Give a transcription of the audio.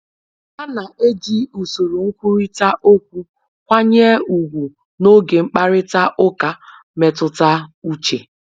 Ha na eji usoro nkwurịta okwu nkwanye ugwu n'oge mkparịta ụka mmetụta uche